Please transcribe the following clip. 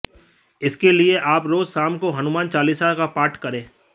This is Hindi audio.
इसके लिए आप रोज़ शाम को हनुमान चालीसा का पाठ करें